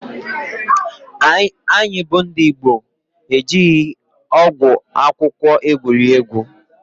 Anyị bụ ndị Igbo ejighị ọgwụ akwụkwọ egwuri egwu.